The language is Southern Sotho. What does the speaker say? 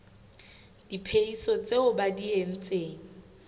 diphehiso tseo ba di entseng